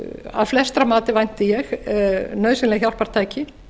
að flestra mati vænti ég nauðsynleg hjálpartæki